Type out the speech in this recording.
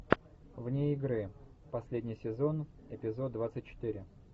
вне игры последний сезон эпизод двадцать четыре